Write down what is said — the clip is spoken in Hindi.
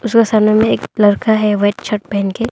जो सामने में एक लड़का है वाइट शर्ट पहन के।